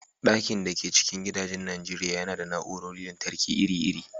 Ɗakin da ke cikin gidajen Najeriya yana da na'urorin lantarki iri-iri